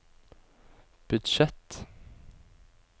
budsjett